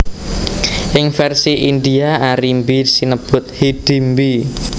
Ing vèrsi India Arimbi sinebut Hidimbi